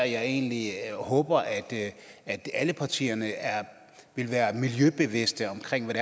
jeg egentlig håber at alle partierne vil være miljøbevidste omkring hvad